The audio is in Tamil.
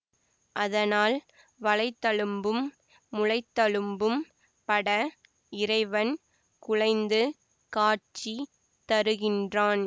அதனால் வளைத்தழும்பும் முலைத்தழும்பும் பட இறைவன் குழைந்து காட்சி தருகின்றான்